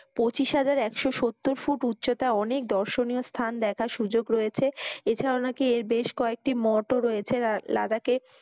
পঁচিশ হাজার একশো সত্তর ফুট উচ্চতায় অনেক দর্শনীয় স্থান দেখার সুযোগ রয়েছে। এছাড়াও নাকি বেশ কয়েকটি মঠও রয়েছে লাদাখে।